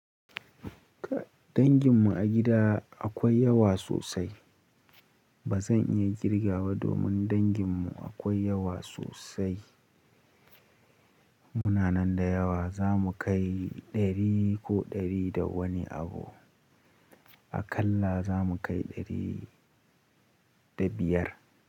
Danginmu a gida akwai yawa sosai. Ba zan iya kirgawa domin danginmu akwai yawa sosai. Muna nan da yawa, za mu kai ɗari ko ɗari da wani abu. A kalla za mu kai ɗari da biyar.